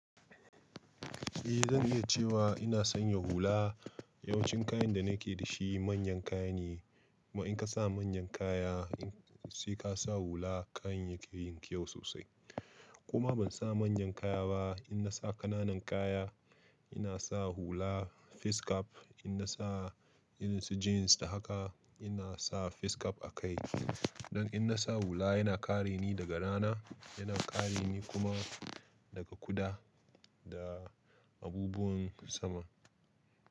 Eh zan iya cewa ina sanya hula. Yawancin kayan da nake da shi manyan kaya ne. Kuma in ka sa manyan kaya sai ka sa hula kayan yake yin kyau sosai. Ko ma ban sa manyan kaya ba in na sa ƙananan kaya ina sa hula face cap in na sa irin su jeans da haka ina sa face cap a kai. Don in na sa hula yana kare ni daga rana yana kare ni kuma daga kuda da abubuwan sama.